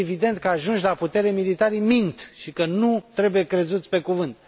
Este evident că, ajunși la putere, militarii mint și că nu trebuie crezuți pe cuvânt.